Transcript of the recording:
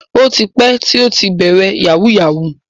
O ti pẹ́ tí ó ti bẹ̀rẹ̀ yahoo yahoo.